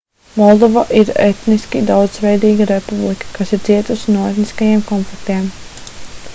moldova ir etniski daudzveidīga republika kas ir cietusi no etniskajiem konfliktiem